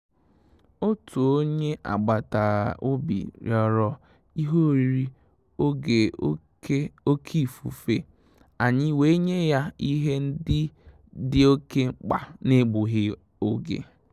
Òtù ó nyé ágbàtà-òbì rị́ọ̀rọ̀ ìhè órírí ògè òké òké ífùfé, ànyị́ wèé nyé yá ìhè ndị́ dì òké mkpá n’égbúghị́ ògè.